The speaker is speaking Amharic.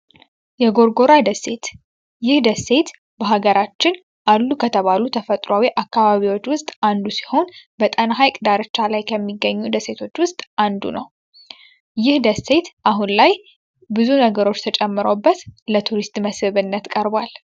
የጎርጎር ደሴት ይህ ደሴት በሀገራችን አሉ ከተባሉ ተፈጥሯዊ ደሴቶች ውስጥ አንዱ ሲሆን በጣና ሀይቅ ከሚገኙ ደሴቶች ውስጥ አንዱ ነው። ይህ ደሴት አሁን ላይ ብዙ ነገሮች ተጨምረውበት ለቱሪስት ቀርቧል።